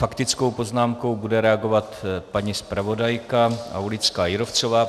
Faktickou poznámkou bude reagovat paní zpravodajka Aulická Jírovcová.